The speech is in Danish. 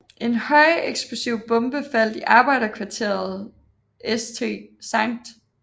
En højeksplosiv bombe faldt i arbejderkvarteret St